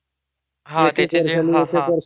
हा हा त्याचे जे